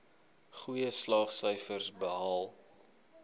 goeie slaagsyfers behaal